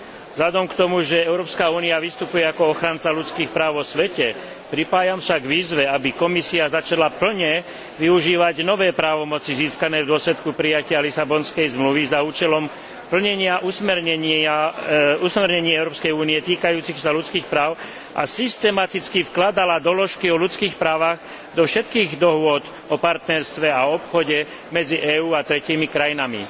Vzhľadom na to, že Európska únia vystupuje ako ochranca ľudských práv vo svete, pripájam sa k výzve, aby Komisia začala v plnej miere využívať nové právomoci získané v dôsledku prijatia Lisabonskej zmluvy na účely plnenia usmernení Európskej únie týkajúcich sa ľudských práv a systematicky vkladala doložky o ľudských právach do všetkých dohôd o partnerstve a obchode medzi EÚ a tretími krajinami.